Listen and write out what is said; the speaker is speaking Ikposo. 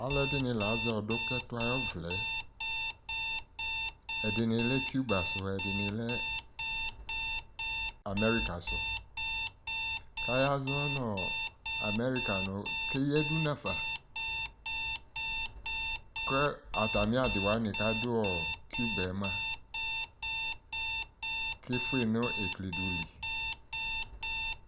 Alʋɛdɩnɩ la azɛ ɔdʋk'ɛtʋ ayʋ ɔvlɛ Ɛdɩnɩ lɛ Cuba sʋ, ɛdɩnɩ, lɛ America sʋ k'ayazɔ nʋ America nʋ keyǝdu n'afa kʋ atamɩ adɩ wanɩ k'adʋ Cuba yɛ mʋa, kefue nʋ eklidʋ li